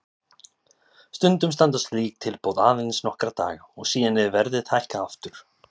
Stundum standa slík tilboð aðeins nokkra daga og síðan er verðið hækkað aftur.